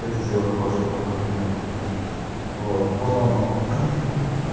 это сделал в прошлые выходные вот но